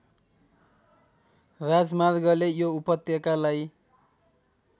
राजमार्गले यो उपत्यकालाई